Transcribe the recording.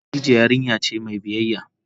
Khadijah yarinya ce mai biyyaya.